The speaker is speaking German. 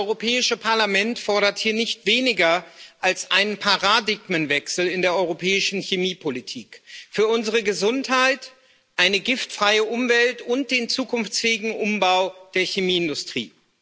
Das Europäische Parlament fordert hier nicht weniger als einen Paradigmenwechsel in der europäischen Chemiepolitik für unsere Gesundheit, eine giftfreie Umwelt und den zukunftsfähigen Umbau der Chemieindustrie.